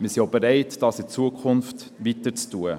Wir sind auch bereit, dies in Zukunft weiterhin zu tun.